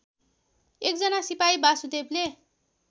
एकजना सिपाही वासुदेवले